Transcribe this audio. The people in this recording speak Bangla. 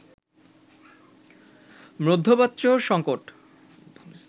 মধ্যপ্রাচ্য সঙ্কট